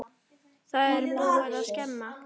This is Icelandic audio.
Það er búið að skemma.